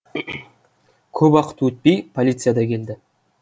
көп уақыт өтпей полиция да келді